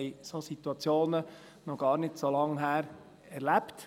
Wir haben solche Situationen vor nicht allzu langer Zeit erlebt.